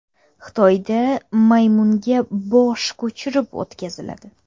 Xitoyda maymunga bosh ko‘chirib o‘tkaziladi.